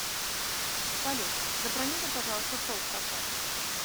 салют забронируй пожалуйста стол в кафе